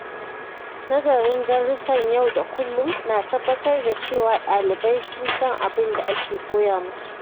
Nazarin darussan yau da kullum na tabbatar da cewa ɗalibai sun san abin da ake koya musu.